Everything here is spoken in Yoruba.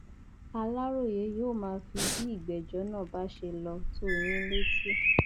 aláròye yóò máa fi bí ìgbẹjọ náà bá ṣe lọ tó yín létí